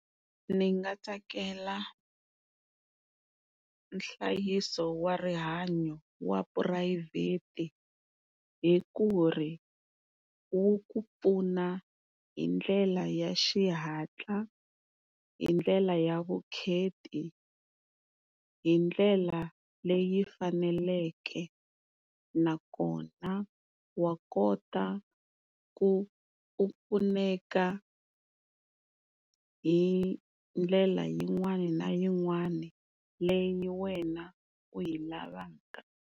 Ni nga tsakela nhlayiso wa rihanyo wa phurayivhete hi ku ri wu ku pfuna hi ndlela ya xihatla, hi ndlela ya vukheti, hi ndlela leyi faneleke nakona wa kota ku pfuneka hi ndlela yin'wana na yin'wana leyi wena u yi lavaka.